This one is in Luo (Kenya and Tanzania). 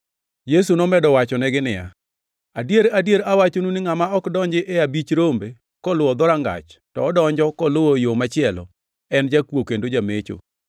Yesu nomedo wachonegi niya, “Adier, adier, awachonu ni ngʼama ok donji e abich rombe koluwo dhorangach, to odonjo koluwo yo machielo, en jakuo kendo jamecho.